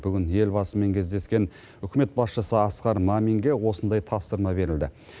бүгін елбасымен кездескен үкімет басшысы асқар маминге осындай тапсырма берілді